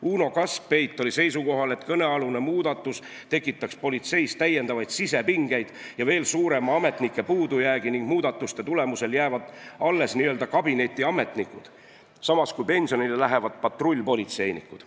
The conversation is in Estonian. Uno Kaskpeit oli seisukohal, et kõnealune muudatus tekitaks politseis täiendavaid sisepingeid ja veel suurema ametnike puudujäägi, muudatuste tulemusel aga jäävad alles n-ö kabinetiametnikud, samas kui pensionile lähevad patrullpolitseinikud.